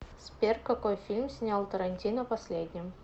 сбер какои фильм снял тарантино последним